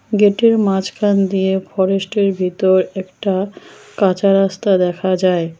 গেটের মাঝখান দিয়ে ফরেস্টের ভিতর একটা কাঁচা রাস্তা দেখা যায়।